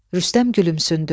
Rüstəm gülümsündü.